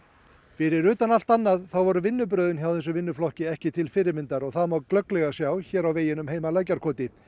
fyrir utan allt annað þá voru vinnubrögðin hjá þessum vinnuflokki ekki til fyrirmyndar og það má glögglega sjá hér á veginum heim að Lækjarkoti